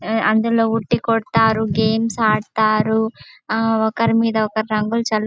ఆ అందులో ఉట్టి కొడతారు గేమ్స్ ఆడుతారు. ఆ ఒకరి మీద ఒకరు రంగులు చల్--